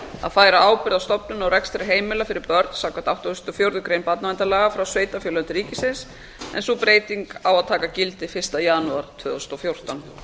að færa ábyrgð á stofnun og rekstri heimila fyrir börn samkvæmt áttugustu og fjórðu grein barnaverndarlaga frá sveitarfélögum til ríkisins en sú breyting á að taka gildi fyrsta janúar tvö þúsund og fjórtán